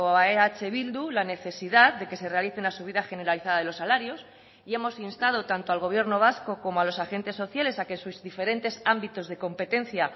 a eh bildu la necesidad de que se realice una subida generalizada de los salarios y hemos instado tanto al gobierno vasco como a los agentes sociales a que sus diferentes ámbitos de competencia